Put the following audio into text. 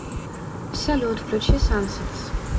салют включи сансетс